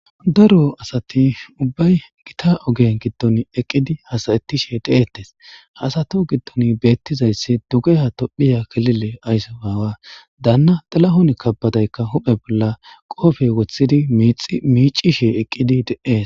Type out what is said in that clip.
daro asati ubbay gita ogen giddon eqqidi hasayettishe deeettes haasato giddon beettizayssi duge ha tophiya kelile ayso aawa daanna xilahon kabbadaykka huphe bolla qoofey wothidi miicishe eqqidi de7ees